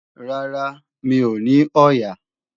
Rárá, mi ò ní ọ̀ọ̀yà